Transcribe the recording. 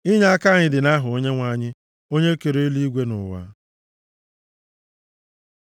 Inyeaka anyị dị nʼaha Onyenwe anyị, onye kere eluigwe na ụwa.